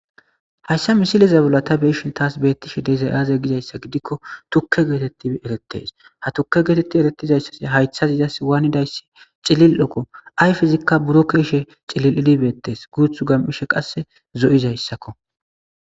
hayssa misilezabulata beishin taas beettishe dezay aaze gizayssa gidikko tukke geetetti erettes ha tukke geetetti erettizayssas haythaz izas waanidayssi cilil okko ay fizikka buro keshe cilil ilibettees guuth gam7ishe qasse zo7izayssakko